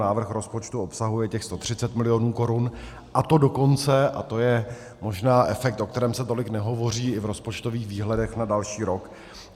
Návrh rozpočtu obsahuje těch 130 milionů korun, a to dokonce - a to je možná efekt, o kterém se tolik nehovoří i v rozpočtových výhledech na další rok.